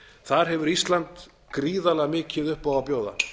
þar hefur ísland gríðarlega mikið upp á að bjóða